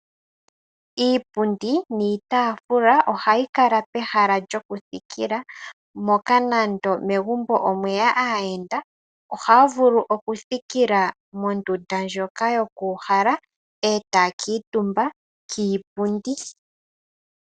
Iipundi niitaafula ohayi kala pehala lyokuthikila, moka nande megumbo omweya aayenda ohaa vulu okuthikila mondunda ndjoka yoku uhala etaya kuutumba kiipundi.